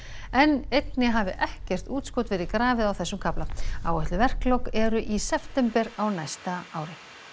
en einnig hafi ekkert útskot verið grafið á þessum kafla áætluð verklok eru í september á næsta ári